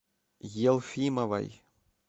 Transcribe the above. елфимовой